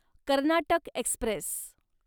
Karnataka Express